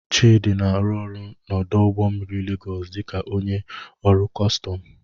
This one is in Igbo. Chidi na-arụ ọrụ n'ọdụ ụgbọ mmiri Legos dị ka onye ọrụ kọstọm.